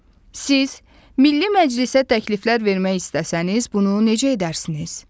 Siz Milli Məclisə təkliflər vermək istəsəniz, bunu necə edərsiniz?